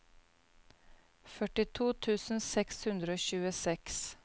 førtito tusen seks hundre og tjueseks